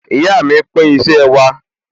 Ìyá mi pín iṣẹ́ wa